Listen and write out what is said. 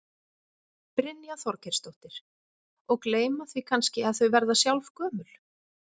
Brynja Þorgeirsdóttir: Og gleyma því kannski að þau verða sjálf gömul?